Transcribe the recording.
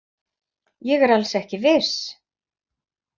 Ég er alls ekki viss.